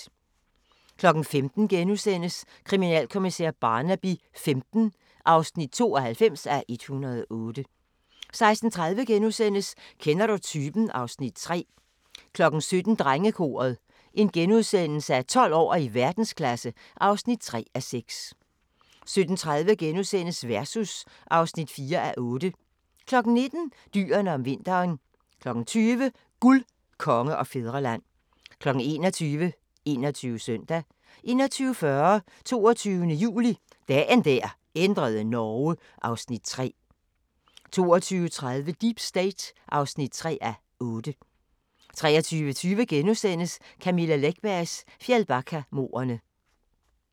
15:00: Kriminalkommissær Barnaby XV (92:108)* 16:30: Kender du typen? (Afs. 3)* 17:00: Drengekoret - 12 år og i verdensklasse (3:6)* 17:30: Versus (4:8)* 19:00: Dyrene om vinteren 20:00: Guld, Konge og Fædreland 21:00: 21 Søndag 21:40: 22. juli – Dagen der ændrede Norge (Afs. 3) 22:30: Deep State (3:8) 23:20: Camilla Läckbergs Fjällbackamordene *